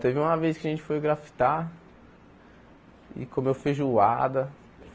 Teve uma vez que a gente foi grafitar e comeu feijoada.